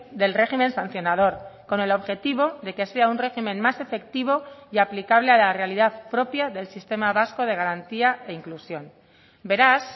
del régimen sancionador con el objetivo de que sea un régimen más efectivo y aplicable a la realidad propia del sistema vasco de garantía e inclusión beraz